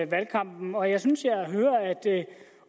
valgkampen og jeg synes jeg hører at